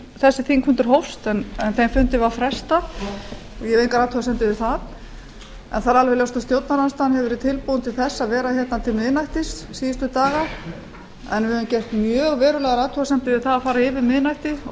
þessi þingfundur hófst en þeim fundi var frestað ég hef enga athugasemd við það en það er alveg ljóst að stjórnarandstaðan hefur verið tilbúin til að vera hér til miðnættis síðustu daga en við höfum gert mjög verulegar athugasemdir við það að fara yfir miðnætti og